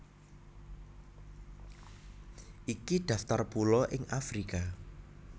Iki daftar pulo ing Afrika